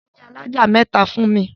Kọ́ ilé alájà mẹ́ta fún mi!